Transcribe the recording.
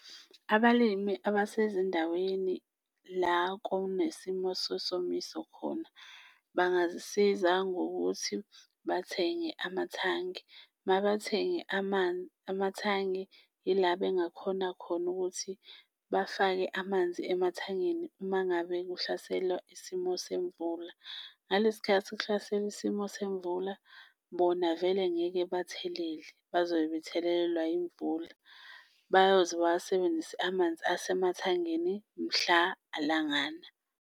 Abalimi abasezindaweni la kunesimo sesomiso khona bangazisiza ngokuthi bathenge amathangi, mabethenge amathangi, yila bengakhona khona ukuthi bafake amanzi emathangini uma ngabe kuhlasela isimo semvula. Ngalesi khathi kuhlasele isimo semvula, bona vele ngeke bathelele bazobe bethelelelwa imvula bayoze bawasebenzise amanzi esemathangini mhla langana.